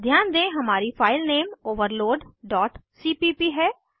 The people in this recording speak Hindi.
ध्यान दें हमारी फाइल नेम overloadसीपीप है